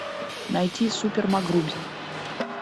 найти супер макгрубер